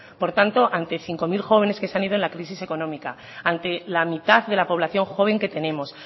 por tanto ante cinco mil jóvenes que se han ido en la crisis económica ante la mitad de la población joven que tenemos